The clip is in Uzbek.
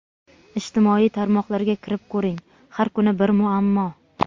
Ijtimoiy tarmoqlarga kirib ko‘ring – har kuni bir muammo.